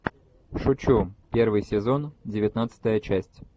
шучу первый сезон девятнадцатая часть